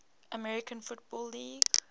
american football league